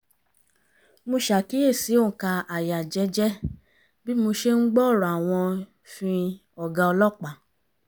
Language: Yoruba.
mo ṣàkíyèsí òǹkà àyà jẹ́jẹ́ bí mo ṣe ń gbọ́ ọ̀rọ̀ àwọn `fin ọ̀gá ọlọ́pàá